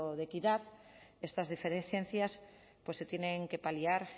de equidad estas diferencias pues se tienen que paliar